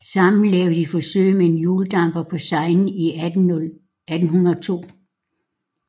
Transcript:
Sammen lavede de forsøg med en hjuldamper på Seinen i 1802